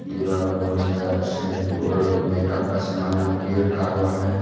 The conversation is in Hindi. दीवाल में बहुत सारा शैंपू और मेकअप का सामान लोग रखा हुआ है।